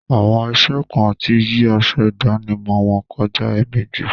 Àwọn iṣẹ kan ti yí aṣọ ìdánimọ̀ wọn kọjá èèmejì.